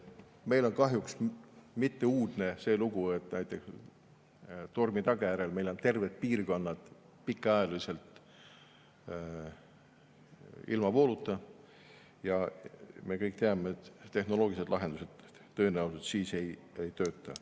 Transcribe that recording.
Meil ei ole kahjuks uudne see lugu, et tormi tagajärjel on terved piirkonnad pikaajaliselt ilma vooluta, ja me kõik teame, et tehnoloogilised lahendused tõenäoliselt siis ei tööta.